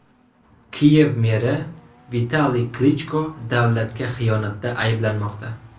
Kiyev meri Vitaliy Klichko davlatga xiyonatda ayblanmoqda.